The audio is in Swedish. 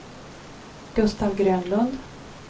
Gustaf Grönlund